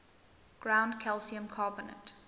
ground calcium carbonate